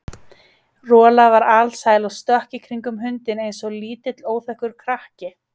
Rola var alsæl og stökk í kringum hundinn eins og lítill óþekkur krakki.